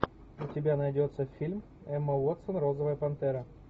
у тебя найдется фильм эмма уотсон розовая пантера